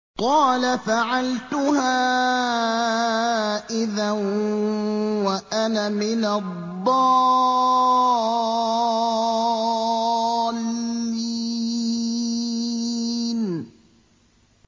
قَالَ فَعَلْتُهَا إِذًا وَأَنَا مِنَ الضَّالِّينَ